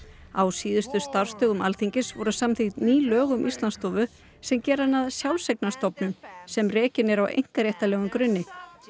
á síðustu starfsdögum Alþingis voru samþykkt ný lög um Íslandsstofu sem gera hana að sjálfseignarstofnun sem rekin er á einkaréttarlegum grunni